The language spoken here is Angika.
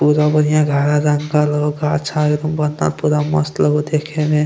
पूरा बढ़िया हरा रंग का गाछ पूरा मस्त लगे हो देखमें।